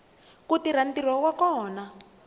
ku tirha ntirho wa kona